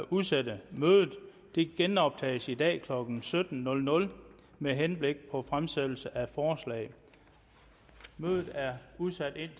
udsætte mødet det genoptages i dag klokken sytten med henblik på fremsættelse af forslag mødet er udsat